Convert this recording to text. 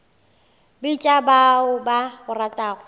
bitša ba o ba ratago